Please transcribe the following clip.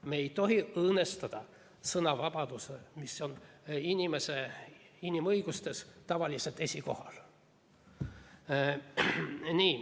Me ei tohi õõnestada sõnavabadust, mis on inimõiguste hulgas tavaliselt esikohal.